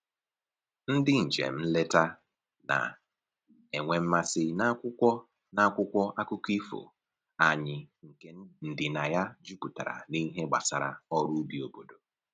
Ndị njem nleta na-enwe mmasị n'akwụkwọ n'akwụkwọ akụkọ ifo anyị nke ndịna ya juputara n'ihe gbasara ọrụ ubi obodo